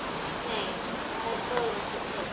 Nei það stóð ekki til.